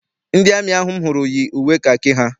Ndị amị ahụ m hụrụ yi uwe kakị ha.